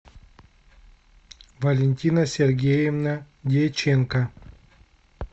валентина сергеевна дьяченко